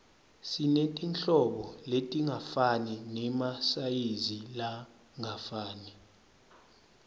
sinetinhlobo letingafani nemasayizi langafani